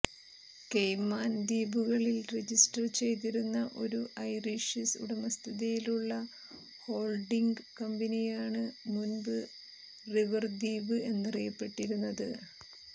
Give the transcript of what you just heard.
caiman ദ്വീപുകളിൽ register ചെയ്തിരുന്ന ഒരു ഐറിഷ് ഉടമസ്ഥതയിലുള്ള ഹോൾഡിംഗ് കമ്പനിയാണ് മുൻപ് റിവർദ്വീപ് എന്നറിയപ്പെട്ടിരുന്നത്